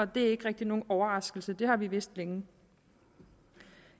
det er ikke rigtig nogen overraskelse det har vi vidst længe